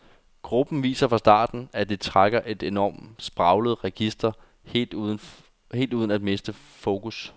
Gruppen viser fra starten, at de trækker på et enormt spraglet register helt uden at miste fokus.